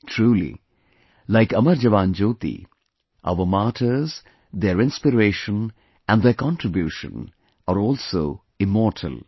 Truly, like 'Amar Jawan Jyoti' our martyrs, their inspiration and their contribution are also immortal